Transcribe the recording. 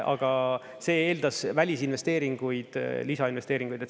Aga see eeldas välisinvesteeringuid, lisainvesteeringuid.